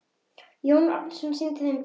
Jón Arason sýndi þeim bréf.